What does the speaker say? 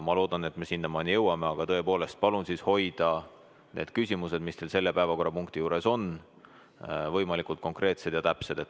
Ma loodan, et me sinnamaani jõuame, aga tõepoolest, palun hoidke need küsimused, mis teil selle päevakorrapunkti kohta on, võimalikult konkreetsed ja täpsed.